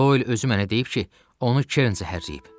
Doil özü mənə deyib ki, onu Kern zəhərləyib.